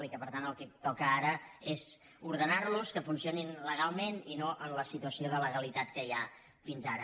i que per tant el que toca ara és ordenar los que funcionin legalment i no en la situació d’alegalitat que hi ha hagut fins ara